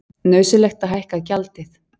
Nauðsynlegt að hækka gjaldið